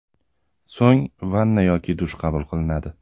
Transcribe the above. So‘ng vanna yoki dush qabul qilinadi.